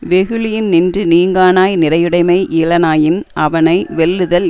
வெகுளியின் நின்று நீங்கானாய் நிறையுடைமை இலனாயின் அவனை வெல்லுதல்